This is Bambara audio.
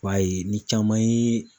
I b'a ye ni caman ye